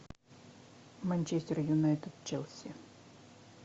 манчестер юнайтед челси